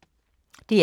DR K